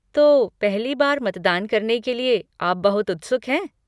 तो, पहली बार मतदान करने के लिए आप बहुत उत्सुक हैं?